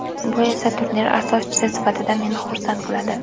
Bu esa turnir asoschisi sifatida meni xursand qiladi.